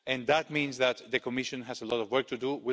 And that means that the Commission has a lot of work to do.